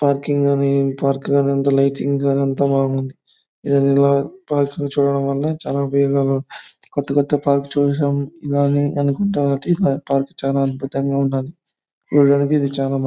Parking అని park లో lighting అనంతం బాగుంది. ఇదేదో పార్కింగ్ చూడడం వల్ల చాలా కొత్త కొత్త పార్క్ చూశాం కానీ ఇలానే అనుకుంట పార్క్ చాలా అద్భుతంగా ఉన్నాది. చూడ్డానికి ఇది చాలా బాగుం--